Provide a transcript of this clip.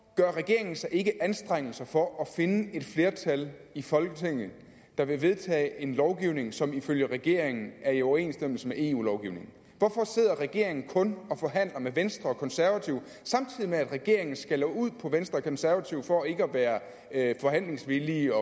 gør regeringen sig ikke anstrengelser for at finde et flertal i folketinget der vil vedtage en lovgivning som ifølge regeringen er i overensstemmelse med eu lovgivningen hvorfor sidder regeringen kun og forhandler med venstre og konservative samtidig med at regeringen skælder ud på venstre og konservative for ikke at være forhandlingsvillige